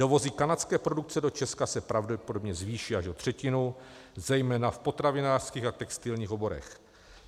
Dovozy kanadské produkce do Česka se pravděpodobně zvýší až o třetinu, zejména v potravinářských a textilních oborech.